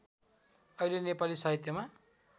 अहिले नेपाली साहित्यमा